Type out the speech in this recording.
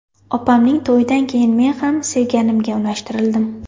Opamning to‘yidan keyin men ham sevganimga unashtirildim.